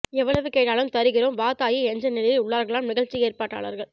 எவ்வளவு கேட்டாலும் தருகிறோம் வா தாயி என்ற நிலையில் உள்ளார்களாம் நிகழ்ச்சி ஏற்பாட்டாளர்கள்